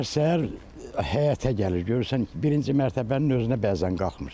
Səhər-səhər həyətə gəlir, görürsən ki, birinci mərtəbənin özünə bəzən qalxmır.